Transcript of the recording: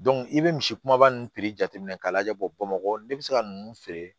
i bɛ misi kumaba ninnu piri jateminɛ k'a lajɛ bɔ bamakɔ ne bɛ se ka ninnu feere